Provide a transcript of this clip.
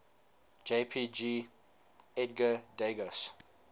jpg edgar degas